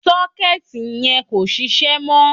Sọ́kẹ́ẹ̀tì yẹn kò sisẹ́ mọ́.